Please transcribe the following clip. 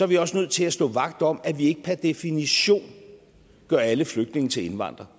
vi også nødt til at stå vagt om at vi ikke per definition gør alle flygtninge til indvandrere